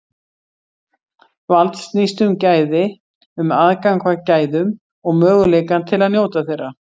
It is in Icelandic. Vald snýst um gæði, um aðgang að gæðum og möguleikann til að njóta þeirra.